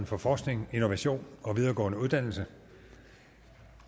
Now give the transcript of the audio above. for forskning innovation og videregående uddannelse